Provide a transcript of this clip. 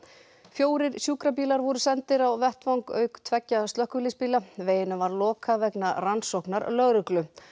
fjórir sjúkrabílar voru sendir á vettvang auk tveggja slökkviliðsbíla veginum var lokað vegna rannsóknar lögreglu